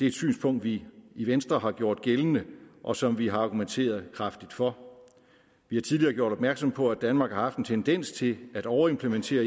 et synspunkt vi i venstre har gjort gældende og som vi har argumenteret kraftigt for vi har tidligere gjort opmærksom på at danmark har haft en tendens til at overimplementere